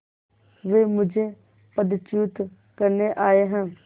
वे मुझे पदच्युत करने आये हैं